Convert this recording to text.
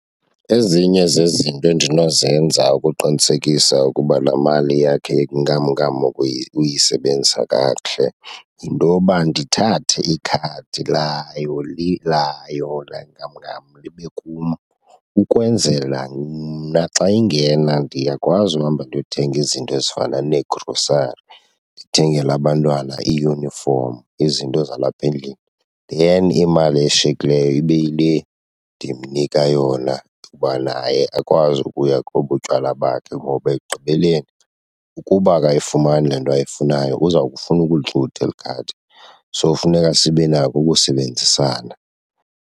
Ezinye zezinto endinozenza ukuqinisekisa ukuba laa mali yakhe yenkamnkam uyisebenzisa kakuhle yinto yoba ndithathe ikhadi layo , layo laa nkamnkam libe kum ukwenzela mna xa ingena ndiyakwazi uhamba ndiyothenga izinto ezifana neegrosari, ndithengele abantwana iiyunifomu, izinto zalapha endlini then imali eshiyekileyo ibe yile ndimnika yona uba naye akwazi ukuya kobu tywala bakhe. Ngoba ekugqibeleni ukuba akayifumani le nto ayifunayo uza kufuna ukulixutha eli khadi, so funeka sibe nako ukusebenzisana.